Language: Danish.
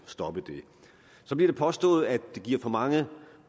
stoppe det så bliver det påstået at det giver for mange